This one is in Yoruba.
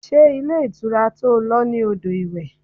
Ṣé ilé ìtura to lọ ní odò iwe?